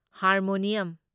harmonium